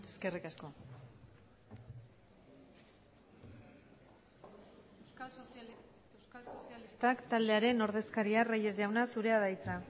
eskerrik asko euskal sozialistak taldearen ordezkaria reyes jauna zurea da hitza